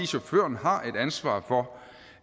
chaufføren har et ansvar for